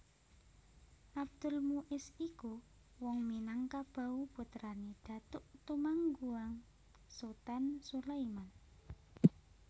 Abdul Muis iku wong Minangkabau putrané Datuk Tumangguang Sutan Sulaiman